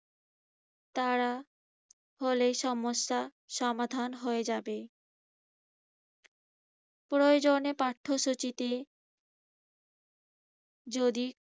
তারা হলে সমস্যা সমাধান হয়ে যাবে। প্রয়োজনে পাঠ্যসূচিতে যদি